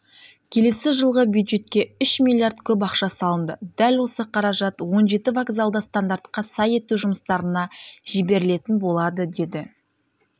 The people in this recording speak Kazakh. келесі жылғы бюджетке үш миллиард көп ақша салынды дәл осы қаражат он жеті вокзалды стандартқа сай ету жұмыстарына жіберілетін болады деді